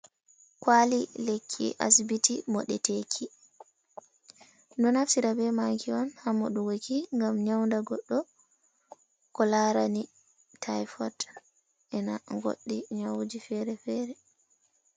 Kwali lekki asibiti moɗeteki. Ɗumɗo naftira be maki on ha moɗugoki, ngam nyawnda goɗɗo ko larani tayfot ena goɗɗi nyawuji fere fere.